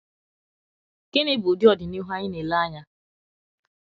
gini bụ ụdị Ọdịnihu anyị na - ele anya?